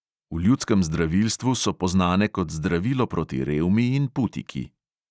V ljudskem zdravilstvu so poznane kot zdravilo proti revmi in putiki.